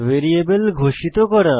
variable ঘোষিত করা